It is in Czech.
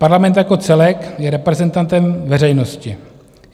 Parlament jako celek je reprezentantem veřejnosti.